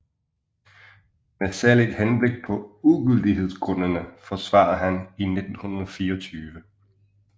Med særligt Henblik paa Ugyldighedsgrundene forsvarede han i 1924